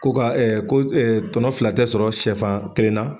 Ko ka ko tɔnɔ fila tɛ sɔrɔ sɛfan kelen na